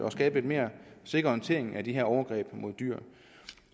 og skabe lidt mere sikker håndtering af de her overgreb på dyr